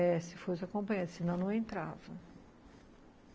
É, se fosse acompanhante, senão não entrava.